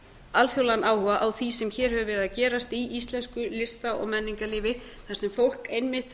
alþjóðlegan áhuga á því sem hér hefur verið að gerast í íslensku lista og menningarlífi þar sem fólk einmitt